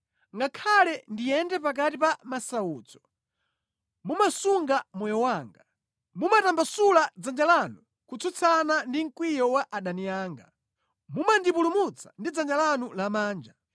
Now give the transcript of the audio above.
Ngakhale ndiyende pakati pa masautso, mumasunga moyo wanga; mumatambasula dzanja lanu kutsutsana ndi mkwiyo wa adani anga, mumandipulumutsa ndi dzanja lanu lamanja.